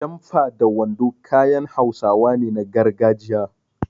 Jamfa da wando kayan Hausawa ne na gargajiya.